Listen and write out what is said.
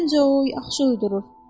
Nəncoy yaxşı uyudurur.